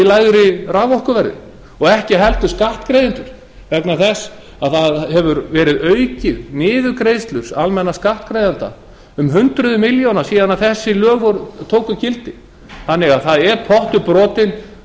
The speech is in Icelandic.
lægra raforkuverði og ekki heldur skattgreiðendur vegna þess að niðurgreiðslur almennra skattgreiðenda hafa verið auknar um hundrað milljónir síðan þessi lög tóku gildi þannig að það er pottur brotinn